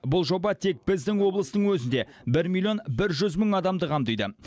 бұл жоба тек біздің облыстың өзінде бір миллион бір жүз мың адамды қамтиды